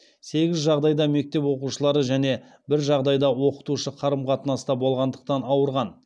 сегіз жағдайда мектеп оқушылары және бір жағдайда оқытушы қарым қатынаста болғандықтан ауырған